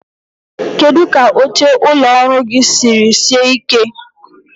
Kedu ka oche ụlọ ọrụ gị siri sie ike?